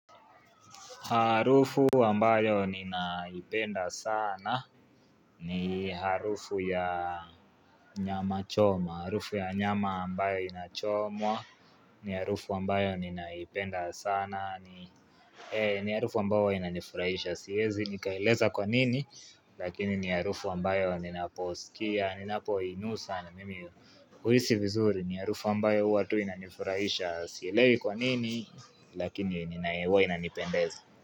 Harufu ambayo ninaipenda sana ni harufu ya nyama choma, harufu ya nyama ambayo inachomwa, ni harufu ambayo ninaipenda sana, ni harufu ambao huwa inanifurahisha, siwezi nikaeleza kwa nini, lakini ni harufu ambayo ninaposikia, ninapoinusa na mimi uhisi vizuri, ni harufu ambayo huwa tu inanifurahisha, sielewi kwa nini, lakini huwa inanipendeza.